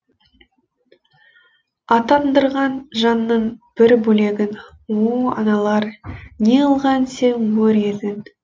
атандырған жанының бір бөлегін о аналар неғылған сен өр едің